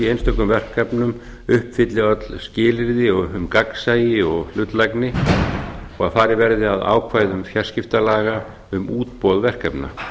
einstökum verkefnum uppfylli öll skilyrði um gagnsæi og hlutlægni og að farið verði að ákvæðum fjarskiptalaga um útboð verkefna